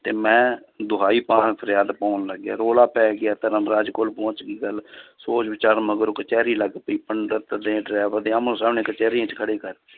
ਤੇ ਮੈਂ ਦੁਹਾਈ ਪਾ ਫਰਿਆਦ ਪਾਉਣ ਲੱਗਿਆ, ਰੌਲਾ ਪੈ ਗਿਆ ਧਰਮਰਾਜ ਕੋਲ ਪਹੁੰਚ ਗਈ ਗੱਲ ਸੋਚ ਵਿਚਾਰਨ ਮਗਰੋਂ ਕਚਿਹਰੀ ਲੱਗ ਪਈ ਪੰਡਿਤ ਨੇ driver ਦੇ ਆਹਮੋ ਸਾਹਮਣੇ ਕਚਿਹਰੀਆਂ 'ਚ ਖੜੇ ਕਰ